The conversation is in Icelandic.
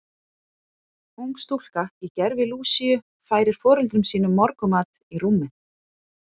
Ung stúlka í gervi Lúsíu færir foreldrum sínum morgunmat í rúmið.